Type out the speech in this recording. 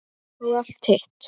Og allt hitt.